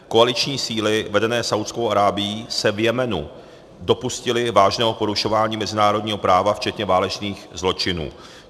Koaliční síly vedené Saúdskou Arábií se v Jemenu dopustily vážného porušování mezinárodního práva včetně válečných zločinů."